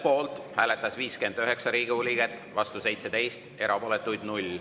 Poolt hääletas 59 Riigikogu liiget, vastu 17, erapooletuid oli 0.